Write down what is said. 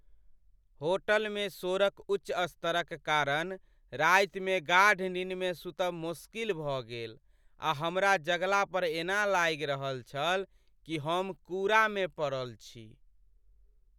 होटलमे शोरक उच्च स्तरक कारण रातिमे गाढ़ निन्नमे सुतब मोश्किल भऽ गेल आ हमरा जगला पर एना लागि रहल छल कि हम कूड़ामे पड़ल छी।